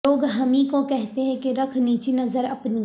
لوگ ہمیں کو کہتے ہیں کہ رکھ نیچی نظر اپنی